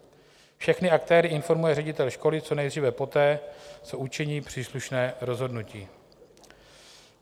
Všechny aktéry informuje ředitel školy co nejdříve poté, co učiní příslušné rozhodnutí.